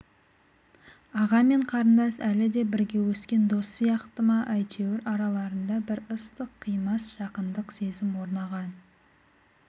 аға мен қарындас әліде бірге өскен дос сияқты ма әйтеуір араларында бір ыстық қимас жақындық сезім орнаған